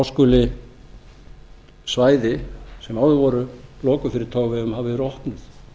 skuli svæði sem áður voru lokuð fyrir togveiðum hafa verið opnuð